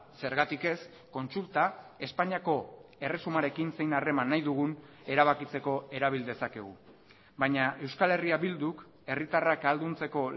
zergatik ez kontsulta espainiako erresumarekin zein harreman nahi dugun erabakitzeko erabil dezakegu baina euskal herria bilduk herritarrak ahalduntzeko